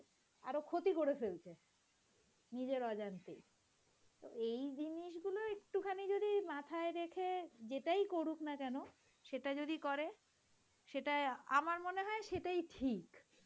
আরো ক্ষতি করে ফেলছে, নিজের অজান্তেই এই জিনিসগুলো একটুখানি যদি মাথায় রেখে যেটাই করুক না কেন সেটা যদি করে সেটা আমার মনে হয়ে সেটাই ঠিক.